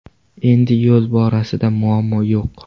Endi yo‘l borasida muammo yo‘q.